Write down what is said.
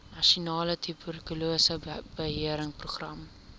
nasionale tuberkulose beheerprogram